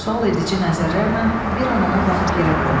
Sual edici nəzərlərlə bir an ona baxıb yerə qoydu.